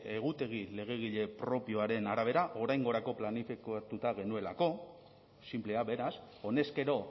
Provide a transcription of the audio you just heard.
egutegi legegile propioaren arabera oraingorako planifikatuta genuelako sinplea beraz honezkero